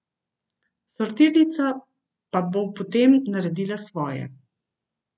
Sortirnica pa bo potem naredila svoje.